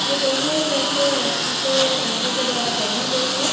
यह दोनों भैंस रस्सी से रस्सी के द्वारा बंधी गई है।